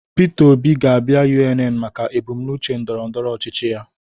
Peter Obi ga-abịa UNN maka ebumnuche ndọrọndọrọ ọchịchị ya